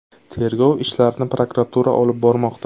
Tergov ishlarini prokuratura olib bormoqda.